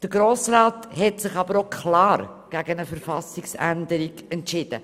Der Grosse Rat hat sich dabei klar gegen eine Verfassungsänderung entschieden.